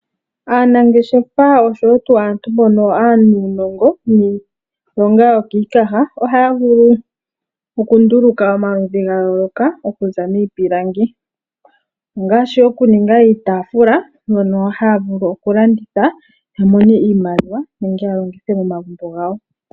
Aanangeshefo osho wo tuu aantu mbono aanuunongo niilonga yokiikaha ohaya vulu oku nduluka omaludhi ga yooloka okuza miipilangi. Ongaashi oku ninga iitaafula mbyono haya vulu oku landitha ya mone iimaliwa nenge ya longithe mo magumbo gawo.